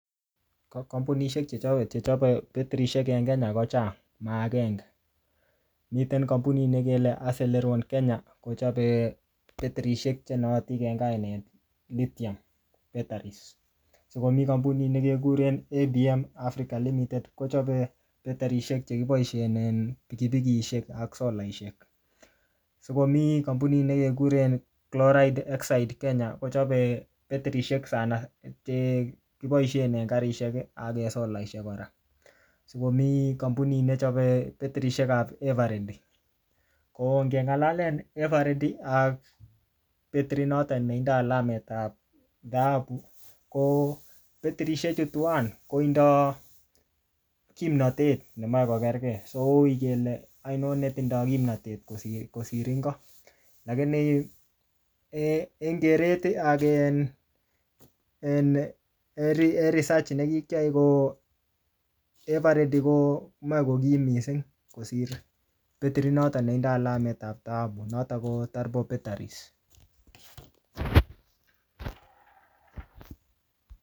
Ko kampunishek chechoket chechape betirisiek en Kenya kochang, ma agenge. Miten kampunit ne kele Aceleron Kenya, kochape betirisiek che naatin en kainet lithium batteries. Sikomi kampunit ne kekuren ABM Africa Limited. Kochape betirisiek che kiboisien en pikipikisiek ak solaishek. Sikomii kampunit ne kekuren Chloride Exide Kenya kochape betirisiek sana che kiboisie en karishek, ak en solaishek kora. Sikomi kampunit nechope betirisiek ap everready. Ko ngeng'alalen everready ak betirit notok ne tinodi alamet ap dhahabu, ko betirisiek chu tuwan, koindoi kimnatet nemache kokerkei. So ui kele aino ne tindoi kimnatet kosir-kosir ingo. Lakini um en keret ak um en research ne kikiae, ko everready komache kokim missing kosire betirit notok netindoi alamet nebo dhahabu, notok ko turbo batteries